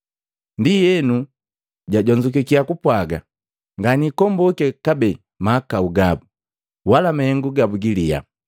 Ndienu jajonzukiya kupwaga: “Nganiikombuke kabee mahakau gabu, wala mahengu gabu giliya.”